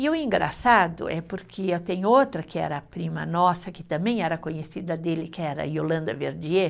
E o engraçado é porque tem outra que era prima nossa, que também era conhecida dele, que era Yolanda Verdier,